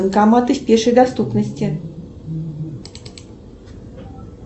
банкоматы в пешей доступности